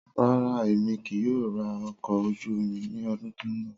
Rara, Emi kii yoo ra ọkọ̀ ojú omi ni ọdun to nbọ.